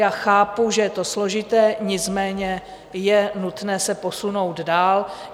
Já chápu, že je to složité, nicméně je nutné se posunout dál.